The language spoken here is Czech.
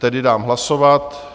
Tedy dám hlasovat.